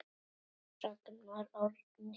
Ragnar Árni.